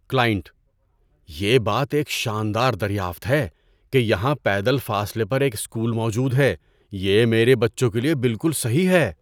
Client: "یہ بات ایک شاندار دریافت ہے کہ یہاں پیدل فاصلے پر ایک اسکول موجود ہے، یہ میرے بچوں کے لیے بالکل صحیح ہے۔"